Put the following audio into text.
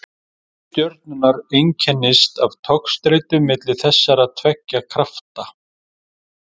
Ævi stjörnunnar einkennist af togstreitu milli þessara tveggja krafta.